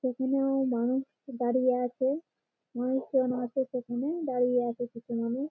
এখানেও মানুষ দাঁড়িয়ে আছে। মানুষের মাঝে এখানে দাঁড়িয়ে আছে কিছু মানুষ।